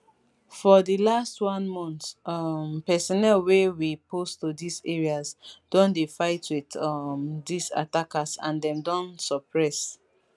for di last one month um personnel wey we post to dis areas don dey fight wit um dis attackers and dem don suppress